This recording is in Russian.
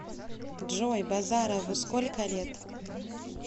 джой базарову сколько лет